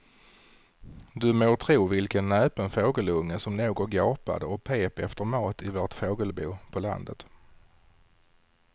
Du må tro vilken näpen fågelunge som låg och gapade och pep efter mat i vårt fågelbo på landet.